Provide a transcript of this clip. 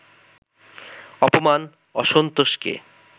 অপমান, অসন্তোষকে